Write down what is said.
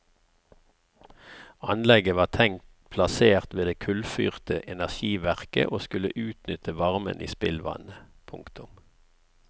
Anlegget var tenkt plassert ved det kullfyrte energiverket og skulle utnytte varmen i spillvannet. punktum